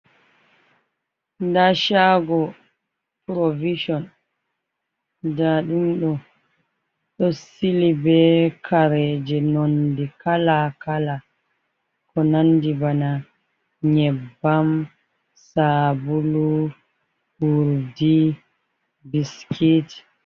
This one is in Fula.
Nda shago purovicon nda ɗum ɗo ɗo sili be kareje nondi kala kala, ko nandi bana nyebbam sabulu urdi biskit.